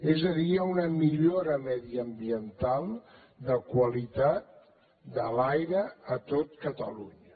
és a dir hi ha una millora mediambiental de qualitat de l’aire a tot catalunya